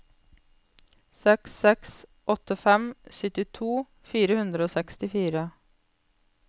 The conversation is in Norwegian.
seks seks åtte fem syttito fire hundre og sekstifire